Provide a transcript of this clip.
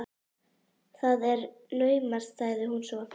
Það er naumast sagði hún svo.